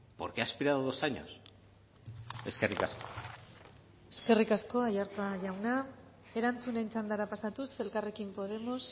por qué ha esperado dos años eskerrik asko eskerrik asko aiartza jauna erantzunen txandara pasatuz elkarrekin podemos